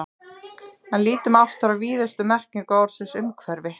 En lítum aftur á víðustu merkingu orðsins umhverfi.